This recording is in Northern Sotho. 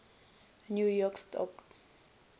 new york stock